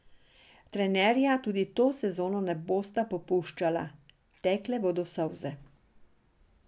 Trenerja tudi to sezono ne bosta popuščala, tekle bodo solze.